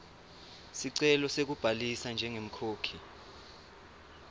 sicelo sekubhalisa njengemkhokhi